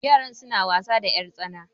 yara suna wasa da yartsana